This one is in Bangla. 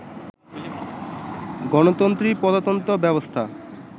গণতন্ত্রী প্রজাতন্ত্র ব্যবস্থা